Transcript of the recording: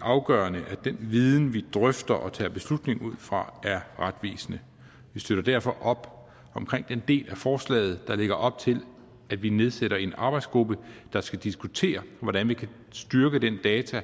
afgørende at den viden vi drøfter og tager beslutninger ud fra er retvisende vi støtter derfor op omkring den del af forslaget der lægger op til at vi nedsætter en arbejdsgruppe der skal diskutere hvordan vi kan styrke den data